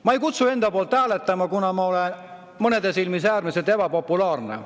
Ma ei kutsu enda poolt hääletama, kuna ma olen mõnede silmis äärmiselt ebapopulaarne.